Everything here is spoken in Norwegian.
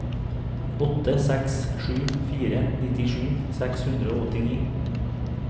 åtte seks sju fire nittisju seks hundre og åttini